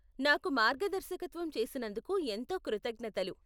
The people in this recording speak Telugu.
నాకు మార్గదర్శకత్వం చేసినందుకు ఎంతో కృతజ్ఞతలు.